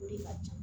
O de ka ca